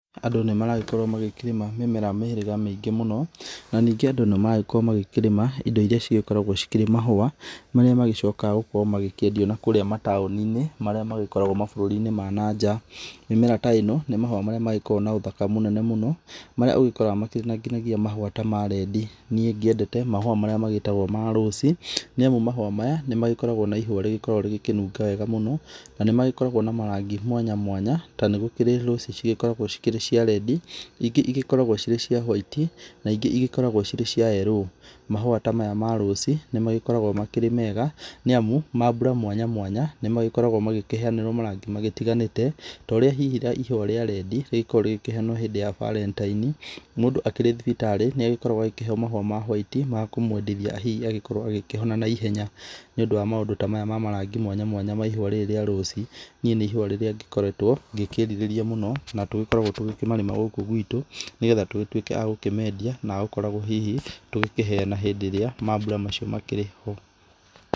Andũ nĩ maragĩkorwo magĩkĩrĩma mĩmera mĩhĩrĩga mĩingĩ mũno na ningĩ andũ nĩ maragĩkorwo magĩkĩrĩma indo irĩa cigĩkoragwo cikĩrĩ mahũa, marĩa magĩcokaga gũkorwo magĩkĩendio nakũrĩa mataũni-inĩ marĩa magĩkoragwo mabũrũri-inĩ ma na nja. Mĩmera ta ĩno nĩ mahũa marĩa magĩkoragwo na ũthaka mũnene mũno marĩa ũgikoraga makĩrĩ nginyagia mahũa ta ma red. Niĩ ngĩendete mahũa marĩa magĩtagwo ma rose nĩ amu mahũa maya nĩ magĩkoragwo na ihũa rĩgĩkoragwo rĩgĩkĩnunga wega mũno. Na nĩmagĩkoragwo na marangi mwanya mwanya, ta nĩ gũkĩrĩ roses cikoragwo cikĩrĩ cia red ingĩ igĩkoragwo cirĩ cia white na ingĩ igĩkoragwo cirĩ cia yello. Mahũa ta maya ma rose nĩ magĩkoragwo makĩrĩ mega nĩ amũ mambura mwanya mwanya nĩ magĩkoragwo magĩkĩheanĩrwo marangi magĩtiganĩte. Ta ũrĩa hihi ihũa rĩa red rĩgĩkoragwo rĩgĩkĩheanwo hĩndĩ ya Valentine's. Mũndũ akĩrĩ thibitarĩ nĩ agĩkoragwo agĩkĩheo mahũa ma white ma kũmwendithia hihi agĩkorwo agĩkĩhona naihenya. Nĩ ũndũ wa maũndũ ta maya ma marangi mwanya mwanya ma ihũa rĩrĩ rĩa rose, niĩ nĩ ihũa rĩrĩa ngĩkoretwo ngĩkĩrirĩria mũno na tũgĩkoragwo tũgĩkĩmarĩma gũkũ gwitũ nĩgetha tũgĩtuĩke agũkĩmendia na agũkoragwo hihi tũgĩkĩheana hĩndĩ ĩrĩa mambura macio makĩrĩ ho.